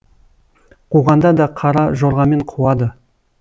қуғанда да қара жорғамен қуады